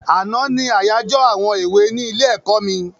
Àná ní àyájọ àwọn èwe ní ilé-ẹ̀kọ́ mi.